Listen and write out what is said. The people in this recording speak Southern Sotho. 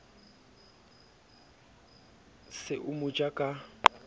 se o mo ja ka